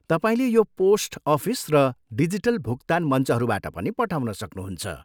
तपाईँले यो post office र डिजिटल भुक्तान मञ्चहरूबाट पनि पठाउन सक्नुहुन्छ।